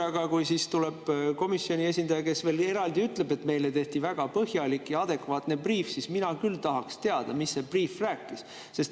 Aga kui tuli komisjoni esindaja, kes veel eraldi ütles, et neile tehti väga põhjalik ja adekvaatne briif, siis mina küll tahaks teada, mida see briif rääkis.